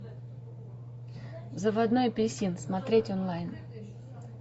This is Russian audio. заводной апельсин смотреть онлайн